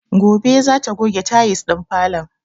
Gobe za ta goge tayis ɗin falon